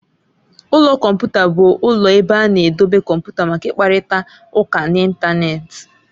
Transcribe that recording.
Ụlọ kọmputa bụ ụlọ ebe a na-edobe kọmputa maka ịkparịta ụka n'Ịntanet.